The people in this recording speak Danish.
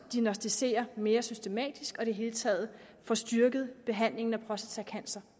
at diagnosticere mere systematisk og i det hele taget får styrket behandlingen af prostatacancer